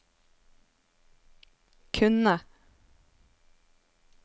kunne